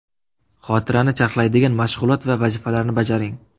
Xotirani charxlaydigan mashg‘ulot va vazifalarni bajaring.